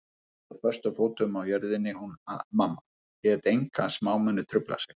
Stóð föstum fótum á jörðinni hún mamma, lét enga smámuni trufla sig.